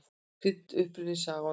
Krydd: Uppruni, saga og notkun.